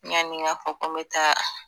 Yanni n ka fɔ ko n be taa